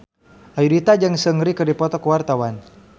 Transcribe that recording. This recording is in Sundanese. Ayudhita jeung Seungri keur dipoto ku wartawan